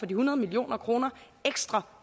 de hundrede million kroner ekstra